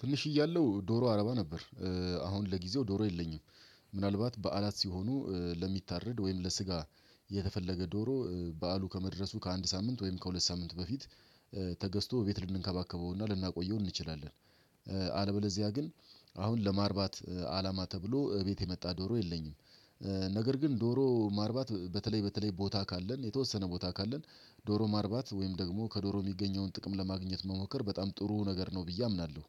ትንሽ እያለው ዶሮ አረባ ነበር። አሁን ለጊዜው ዶሮ የለኝም። ምናልባት በዓላት ሲሆኑ ለሚታረድ ወይም ለስጋ የተፈለገ ዶሮ በዓሉ ከመድረሱ ከአንድ ሳምንት ወይም ከሁለት ሳምንት በፊት። ተገዝቶ ቤት ልንከባከበውና ልናቆየው እንችላለን። አለበለዚያ ግን አሁን ለማርባት አላማ ተብሎ እቤት የመጣ ዶሮ የለኝም። ነገር ግን ዶሮ ማርባት በተለይ በተለይ ቦታ ካለን የተወሰነ ቦታ ካለን ዶሮ ማርባት ወይም ደግሞ ከዶሮ የሚገኘውን ጥቅም ለማግኘት መሞከር በጣም ጥሩ ነገር ነው ብዬ አምናለሁ።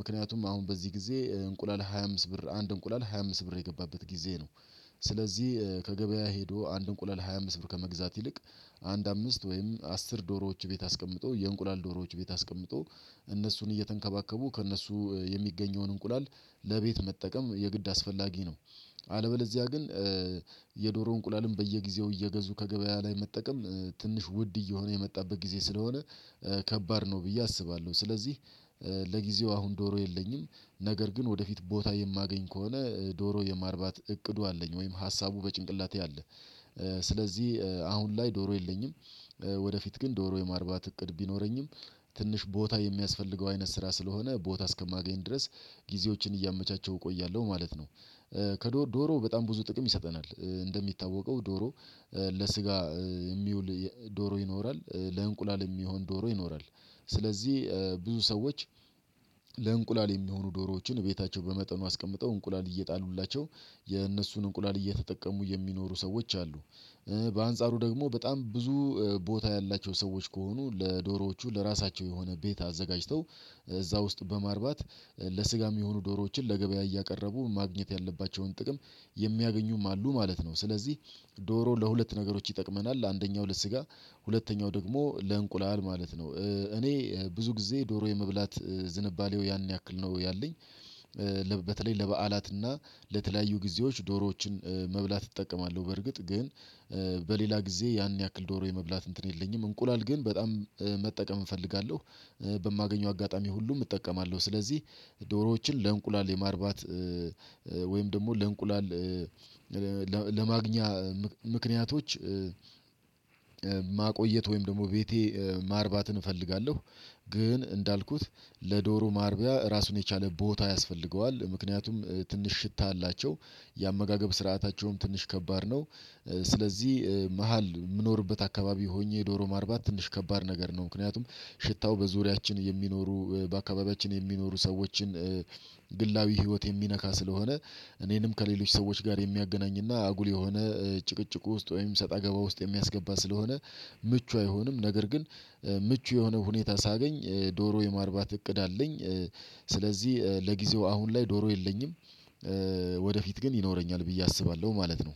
ምክንያቱም አሁን በዚህ ጊዜ እንቁላል ሃያ አምስት ብር አንድ እንቁላል ሃያ አምስት ብር የገባበት ጊዜ ነው። ስለዚህ ከገበያ ሄዶ አንድ እንቁላል ሃያ አምስት ብር ከመግዛት ይልቅ አንድ አምስት ወይም አስር ዶሮዎች ቤት አስቀምጦ የእንቁላል ዶሮዎች ቤት አስቀምጦ እነሱን እየተንከባከቡ ከእነሱ የሚገኘውን እንቁላል ለቤት መጠቀም የግድ አስፈላጊ ነው። አለበለዚያ ግን የዶሮ እንቁላልም በየጊዜው እየገዙ ከገበያ ላይ መጠቀም ትንሽ ውድ እየሆነ የመጣበት ጊዜ ስለሆነ ከባድ ነው ብዬ አስባለሁ። ስለዚህ ለጊዜው አሁን ዶሮ የለኝም ነገር ግን ወደፊት ቦታ የማገኝ ከሆነ ዶሮ የማርባት እቅዱ አለኝ ወይም ሀሳቡ በጭንቅላቴ አለ። ስለዚህ አሁን ላይ ዶሮ የለኝም። ወደፊት ግን ዶሮ የማርባት እቅድ ቢኖረኝም ትንሽ ቦታ የሚያስፈልገው አይነት ስራ ስለሆነ ቦታ እስከማገኝ ድረስ ጊዜዎችን እያመቻቸው እቆያለሁ ማለት ነው። ከዶሮ በጣም ብዙ ጥቅም ይሰጠናል እንደሚታወቀው ዶሮ። ለስጋ የሚውል ዶሮ ይኖራል ለእንቁላል የሚሆን ዶሮ ይኖራል። ስለዚህ ብዙ ሰዎች ለእንቁላል የሚሆኑ ዶሮዎችን ቤታቸው በመጠኑ አስቀምጠው እንቁላል እየጣሉሏቸው የእነሱን እንቁላል እየተጠቀሙ የሚኖሩ ሰዎች አሉ። በአንጻሩ ደግሞ በጣም ብዙ ቦታ ያላቸው ሰዎች ከሆኑ ለዶሮዎቹ ለራሳቸው የሆነ ቤት አዘጋጅተው እዛ ውስጥ በማርባት ለስጋ የሚሆኑ ዶሮዎችን ለገበያ እያቀረቡ ማግኘት ያለባቸውን ጥቅም የሚያገኙም አሉ ማለት ነው። ስለዚህ ዶሮ ለሁለት ነገሮች ይጠቅመናል አንደኛው ሁለት ስጋ ሁለተኛው ደግሞ ለእንቁላል ማለት ነው እኔ ብዙ ጊዜ ዶሮ የመብላት ዝንባሌው ያን ያክል ነው ያለኝ። በተለይ ለበአላትና ለተለያዩ ጊዜዎች ዶሮዎችን መብላት እጠቀማለሁ በርግጥ ግን በሌላ ጊዜ ያን ያክል ዶሮ የመብላት እንትን የለኝም እንቁላል ግን በጣም መጠቀም እፈልጋለሁ። በማገኘው አጋጣሚ ሁሉም እጠቀማለሁ ስለዚህ ዶሮዎችን ለእንቁላል የማርባት ወይም ደግሞ ለእንቁላል ለማግኛ ምክንያቶች ማቆየት ወይም ደግሞ ቤቴ ማርባትን እፈልጋለሁ። ግን እንዳልኩት ለዶሮ ማርቢያ ራሱን የቻለ ቦታ ያስፈልገዋል ምክንያቱም ትንሽ ሽታ አላቸው የአመጋገብ ስርዓታቸውም ትንሽ ከባድ ነው። ስለዚህ መሃል የምኖርበት አካባቢ ሆኜ ዶሮ ማርባት ትንሽ ከባድ ነገር ነው። ምክንያቱም ሽታው በዙሪያችን የሚኖሩ በአካባቢያችን የሚኖሩ ሰዎችን ግላዊ ህይወት የሚነካ ስለሆነ እኔንም ከሌሎች ሰዎች ጋር የሚያገናኝና አጉል የሆነ ጭቅጭቁ ውስጥ ወይም ሰጠገባ ውስጥ የሚያስገባ ስለሆነ ምቹ አይሆንም ነገር ግን ምቹ የሆነ ሁኔታ ሳገኝ ዶሮ የማርባት እቅድ አለኝ። ስለዚህ ለጊዜው አሁን ላይ ዶሮ የለኝም። ወደፊት ግን ይኖረኛል ብዬ አስባለሁ ማለት ነው።